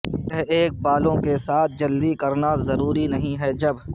یہ ایک بالوں کے ساتھ جلدی کرنا ضروری نہیں ہے جب